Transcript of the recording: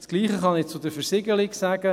Das Gleiche kann ich zur Versiegelung sagen.